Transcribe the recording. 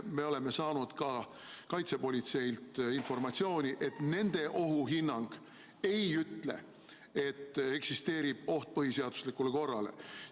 Me oleme saanud kaitsepolitseilt informatsiooni, et nende ohuhinnang ei ole öelnud, et eksisteerib oht põhiseaduslikule korrale.